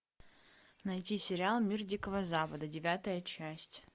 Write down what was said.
найти сериал мир дикого запада девятая часть